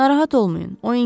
Narahat olmayın.